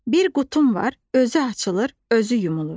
Bir qutum var, özü açılır, özü yumulur.